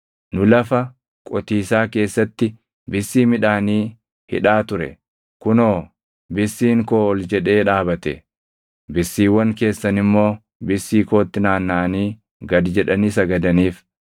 Nu lafa qotiisaa keessatti bissii midhaanii hidhaa ture; kunoo, bissiin koo ol jedhee dhaabate; bissiiwwan keessan immoo bissii kootti naannaʼanii gad jedhanii sagadaniif.”